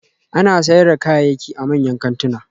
Ana sayar da kayayyaki a manyan kantuna